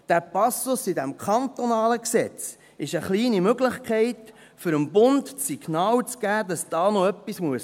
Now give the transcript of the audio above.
Dieser Passus in diesem kantonalen Gesetz ist eine kleine Möglichkeit, um dem Bund das Signal zu geben, dass da noch etwas gehen muss.